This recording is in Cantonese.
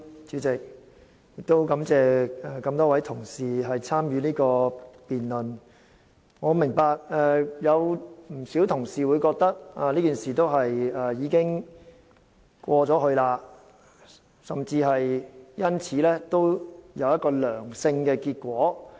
主席，感謝多位同事參與這項辯論，我明白有不少同事會覺得事件已經過去，甚至說事件帶來一個正面的結果。